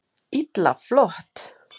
Illa flott!